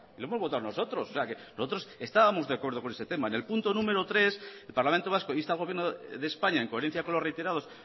lo hemos votado nosotros o sea que nosotros estábamos de acuerdo con ese tema en el punto número tres el parlamento vasco insta al gobierno de españa en coherencia con los reiterados